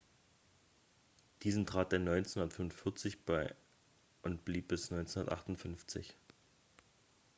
diesen trat er 1945 bei und blieb bis 1958